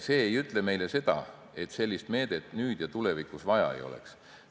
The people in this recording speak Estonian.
See ei ütle meile seda, et sellist meedet nüüd ja tulevikus vaja ei oleks.